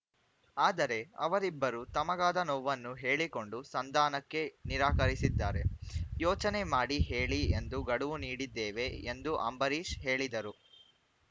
ಆದರೆ ಅವರಿಬ್ಬರೂ ತಮಗಾದ ನೋವನ್ನು ಹೇಳಿಕೊಂಡು ಸಂಧಾನಕ್ಕೆ ನಿರಾಕರಿಸಿದ್ದಾರೆ ಯೋಚನೆ ಮಾಡಿ ಹೇಳಿ ಎಂದು ಗಡುವು ನೀಡಿದ್ದೇವೆ ಎಂದು ಅಂಬರೀಶ್‌ ಹೇಳಿದರು